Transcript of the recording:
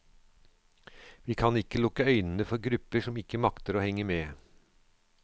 Vi kan ikke lukke øynene for grupper som ikke makter å henge med.